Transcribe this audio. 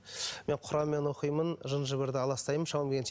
мен құранмен оқимын жын жыбырды аластаймын шамам келгенше